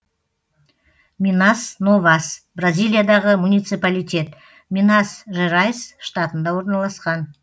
минас новас бразилиядағы муниципалитет минас жерайс штатында орналасқан